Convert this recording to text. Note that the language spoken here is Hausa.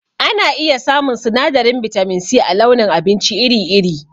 Ana iya samun sinadarin bitamin C a launin abinci iri iri